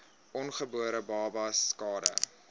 ongebore babas skade